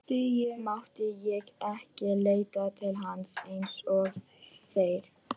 Mátti ég ekki leita til hans eins og þeir?